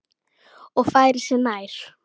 Og færir sig nær.